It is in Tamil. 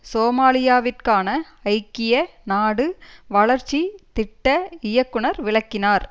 சோமாலியாவிற்கான ஐக்கிய நாடு வளர்ச்சி திட்ட இயக்குநர் விளக்கினார்